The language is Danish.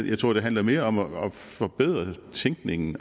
jeg tror det handler mere om at forbedre tænkningen